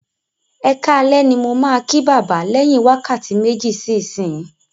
Ẹkáalẹ́ ní mo ma kí bàbá lẹ̀yìn wákàtí méjì sí ìsinsìnyín